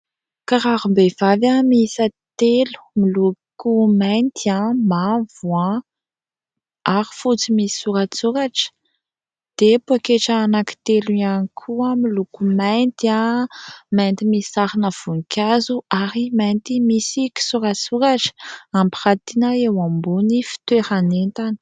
Kirarom-behivavy miisa telo miloko: mainty, mavo, ary fotsy misy soratsoratra. Dia poketra anakitelo ihany koa miloko: maintimainty misy sarina voninkazo, ary mainty misy kisoratsoratra hampiratina eo ambonin'ny fitoeran'entana.